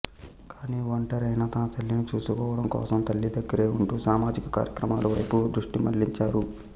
కానీ ఒంటరైన తన తల్లిని చూసుకోవడం కోసం తల్లి దగ్గరే ఉంటూ సామాజిక కార్యక్రమాల వైపు దృష్టిమళ్లించారు